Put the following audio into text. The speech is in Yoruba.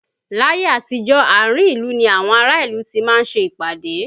Láyé àtijó, àárín ìlú ni àwọn ará ìlú ti máa ń ṣe ìpàdé